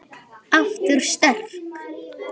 Aftur sterk.